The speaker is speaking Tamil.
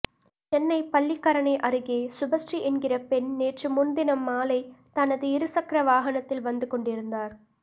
சென்னை பள்ளிக்கரணை அருகே சுபஸ்ரீ என்கிற பெண் நேற்று முன்தினம் மாலை தனது இருசக்கர வாகனத்தில் வந்து கொண்டிருந்தார்